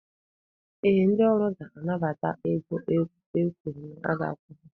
Ee, ndị ọrụ ga-anabata ego e kwuru na-aga akwụ ha.